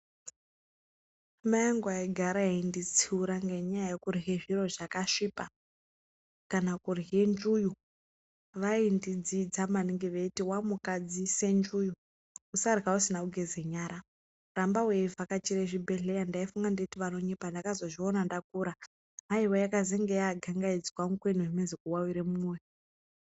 Mai angu aigara enditsiura ngenyaya yekurwe zviro zvakasvipa kana kurwe nzvuwu vaindidzidza maningi veiti wamuka weidzise nzvuu usarwa usina kugeza nyara ramba weivakachira zvibhleya ndakazozviona ndakura haiwa yakazenge yandangaidzwa mukwena kuwawire mumoyo.